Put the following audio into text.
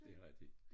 Det er rigtig